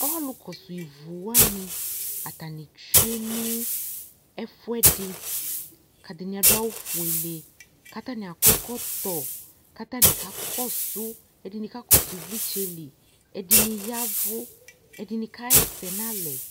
ɔlʋkɔsʋ ivʋwani atanitsue nʋ ɛfuɛdi adini adu awʋfʋe katani akɔɛkɔtɔ katani kakɔsʋ ɛdini kakɔsʋ ivlitsɛli ɛdini yavu ɛdini kahɛsɛ nalɛ